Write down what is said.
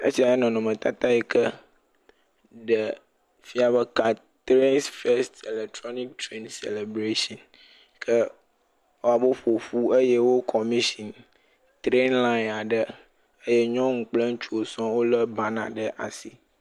Esiae nye nɔnɔmetata yi ke ɖee fia be ka treŋs fɛst ilɛtroniki tren sɛlɛbreshin. Ke ewɔ abe woƒo ƒu eye wo kɔmishini treni lãɛŋ aɖe eye nyɔnu kple ŋutsuwo sɔŋ wolé banaa ɖe asi.